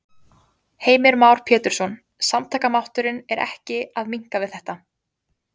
Heimir Már Pétursson: Samtakamátturinn er ekki að minnka við þetta?